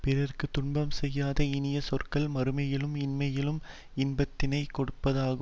பிறர்க்கு துன்பம் செய்யாத இனிய சொற்கள் மறுமையிலும் இம்மையிலும் இன்பத்தினைக் கொடுப்பதாகும்